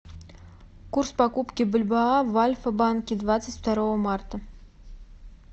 курс покупки бальбоа в альфа банке двадцать второго марта